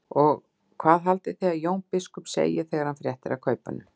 Og hvað haldið þið að Jón biskup segi þegar hann fréttir af kaupunum?